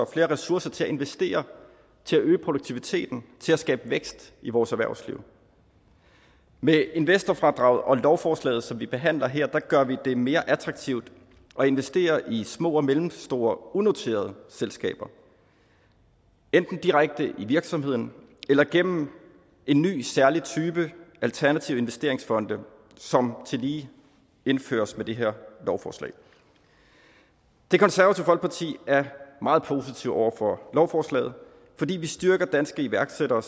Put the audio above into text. ressourcer til at investere og til at øge produktiviteten og til at skabe vækst i vores erhvervsliv med investorfradraget og lovforslaget som vi behandler her gør vi det mere attraktivt at investere i små og mellemstore unoterede selskaber enten direkte i virksomheden eller gennem en ny særlig type alternative investeringsfonde som tillige indføres med det her lovforslag det konservative folkeparti er meget positive over for lovforslaget fordi vi styrker danske iværksættere